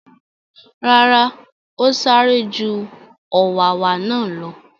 Rárá, ó sáré ju u ọ̀wàwà náà lọ.